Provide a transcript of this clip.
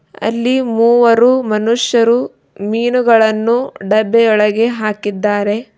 ಅಲ್ಲಿ ಮೂವರು ಮನುಷ್ಯರು ಮೀನುಗಳನ್ನು ಡಬ್ಬಿ ಒಳಗೆ ಹಾಕಿದ್ದಾರೆ.